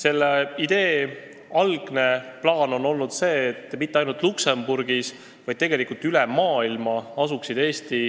Algne plaan oli see, et Eesti andmesaatkonnad ei asuks mitte ainult Luksemburgis, vaid tegelikult üle maailma.